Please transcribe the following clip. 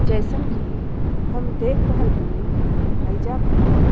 जईसन की हम देख रहल बनी हईजा पर --